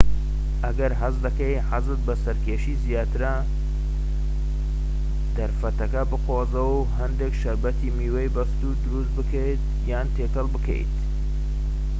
ئەگەر هەست دەکەیت حەزت بە سەرکەشیی زیاترە دەرفەتەکە بقۆزەوە هەندێك شەربەتی میوەی بەستوو دروست بکەیت یان تێکەڵ بکەیت